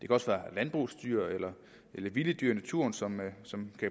også være landbrugsdyr eller vilde dyr i naturen som